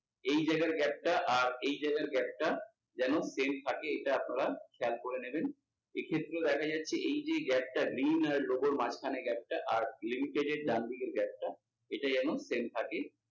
এই জায়গার gap টা আর এই জায়গার gap টা যেন same থাকে এটা আপনারা খেয়াল করে নেবেন। এক্ষেত্রেও দেখা যাচ্ছে এই যে gap টা মাঝখানের gap টা এর ডানদিকের gap টা ইটা যেন same থাকে।